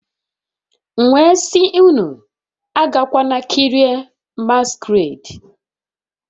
M wee sị unu agakwala kirie masquerade